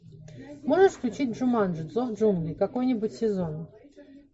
можешь включить джуманджи зов джунглей какой нибудь сезон